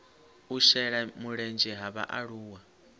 u shela mulenzhe ha vhaaluwa